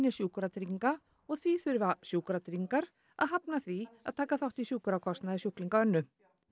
Sjúkratrygginga og því þurfa Sjúkratryggingar að hafna því að taka þátt í sjúkrakostnaði sjúklinga Önnu